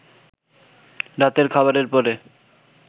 রাতের খাবারের পরে